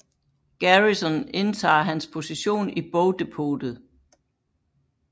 Garrison indtager hans position i bogdepotet